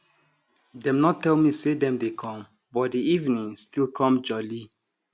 dem nor tell me say dem dey come but di evening still com jolly